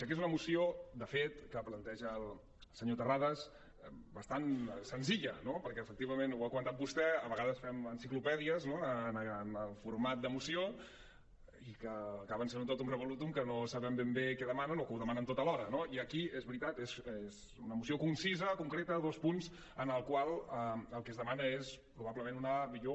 que és una moció de fet que planteja el senyor terrades bastant senzilla no perquè efectivament ho ha comentat vostè a vegades fem enciclopèdies no en el format de moció i que acaben sent tot un totum revolutumdemanen o que ho demanen tot alhora no i aquí és veritat és una moció concisa concreta dos punts en els quals el que es demana és probablement una millor